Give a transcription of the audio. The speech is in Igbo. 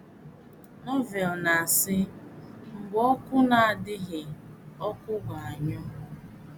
Novel na -asi“ mgbe oku na - adịghị ọkụ ga - anyụ. ”